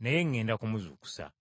naye ŋŋenda kumuzuukusa.”